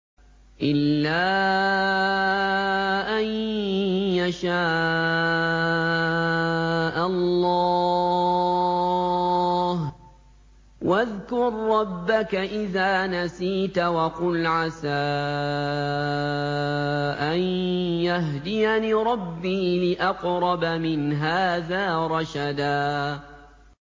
إِلَّا أَن يَشَاءَ اللَّهُ ۚ وَاذْكُر رَّبَّكَ إِذَا نَسِيتَ وَقُلْ عَسَىٰ أَن يَهْدِيَنِ رَبِّي لِأَقْرَبَ مِنْ هَٰذَا رَشَدًا